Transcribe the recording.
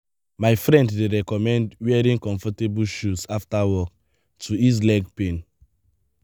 my friend dey recommend wearing comfortable shoes after work to ease leg pain.